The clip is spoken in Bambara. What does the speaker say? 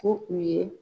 Ko u ye